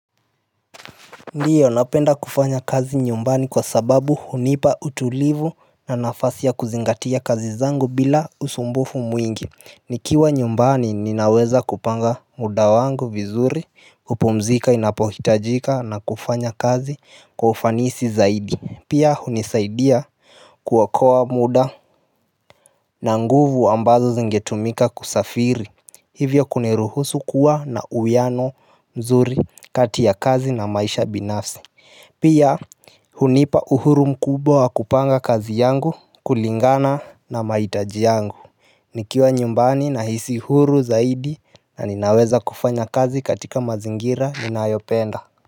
Ndiyo napenda kufanya kazi nyumbani kwa sababu hunipa utulivu na nafasi ya kuzingatia kazi zangu bila usumbufu mwingi. Nikiwa nyumbani ninaweza kupanga muda wangu vizuri kupumzika inapohitajika na kufanya kazi kwa ufanisi zaidi. Pia hunisaidia kuokoa muda na nguvu ambazo zingetumika kusafiri Hivyo kuniruhusu kuwa na uwiano mzuri kati ya kazi na maisha binafsi Pia hunipa uhuru mkubwa wa kupanga kazi yangu kulingana na mahitaji yangu nikiwa nyumbani nahisi huru zaidi na ninaweza kufanya kazi katika mazingira ninayopenda.